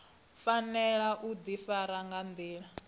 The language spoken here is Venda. fanela u ḓifara nga nḓila